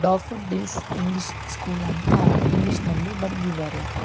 Daffodils English school ಅಂತ English ನಲ್ಲಿ ಬರೆದಿದ್ದಾರೆ.